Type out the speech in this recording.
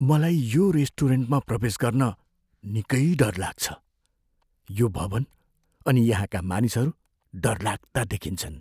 मलाई यो रेस्टुरेन्टमा प्रवेश गर्न निकै डर लाग्छ। यो भवन् अनि यहाँका मानिसहरू डरलाग्दा देखिन्छन्।